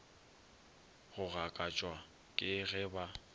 go gakatšwa ke ge ba